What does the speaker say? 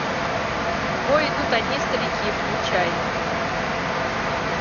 в бой идут одни старики включай